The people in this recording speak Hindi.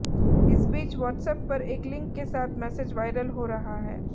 इस बीच व्हाट्सएप पर एक लिंक के साथ मैसेज वायरल हो रहा है